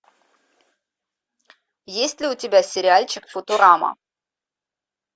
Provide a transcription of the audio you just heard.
есть ли у тебя сериальчик футурама